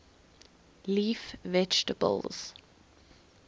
leaf vegetables